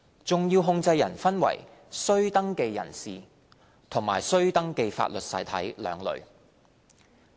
重要控制人分為須登記人士和須登記法律實體兩類。